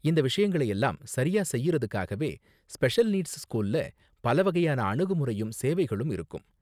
இந்த விஷயங்களை எல்லாம் சரியா செய்யுறதுக்காகவே ஸ்பெஷல் நீட்ஸ் ஸ்கூல்ல பல வகையான அணுகுமுறையும் சேவைகளும் இருக்கும்.